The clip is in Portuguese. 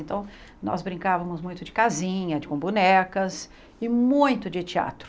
Então, nós brincavamos muito de casinha, com bonecas e muito de teatro.